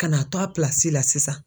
Ka na to a la sisan.